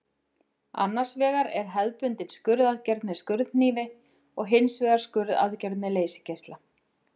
Annars vegar er hefðbundin skurðaðgerð með skurðhnífi og hins vegar skurðaðgerð með leysigeisla.